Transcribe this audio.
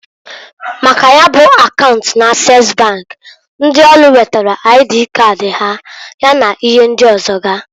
Maka ya bụ akaunt n'Ases bank, ndi ọrụ wetara aidii kadị ha, ya na ihe ndị ọzọga.